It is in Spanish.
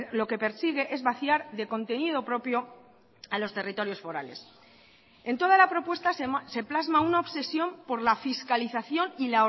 lo que persigue es vaciar de contenido propio a los territorios forales en toda la propuesta se plasma una obsesión por la fiscalización y